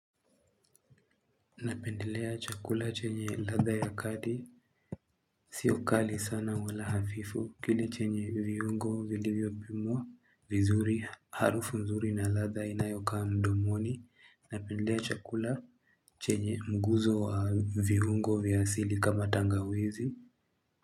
Napendelea chakula chenye ladha ya kati Sio kali sana wala hafifu Kile chenye viungo vilivyo pimwa vizuri Harufu nzuri na ladha inayokaa mdomoni Napendea chakula chenye mguzo wa viungo vya asili kama tangawizi.